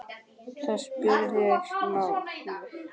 Það skiptir máli.